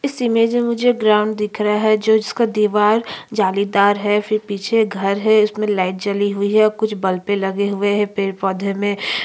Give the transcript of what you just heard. इस इमेज में मुझे ग्राउंड दिख रहा है जो जिसका दीवार जालीदार है फिर पीछे घर है इसमें लाइट जली हुई है कुछ बल्बे लगे हुए है पड़े पौध में--